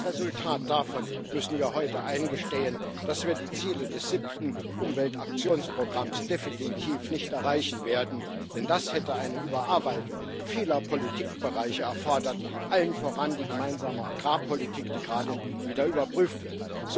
Als Resultat davon müssen wir heute eingestehen, dass wir die Ziele des Siebten Umweltaktionsprogramms definitiv nicht erreichen werden, denn das hätte eine Überarbeitung vieler Politikbereiche erfordert allen voran die Gemeinsame Agrarpolitik, die gerade wieder überprüft wird.